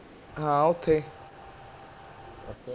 ਹਾਂ ਓਥੇ